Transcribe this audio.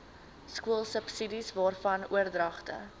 skoolsubsidies waarvan oordragte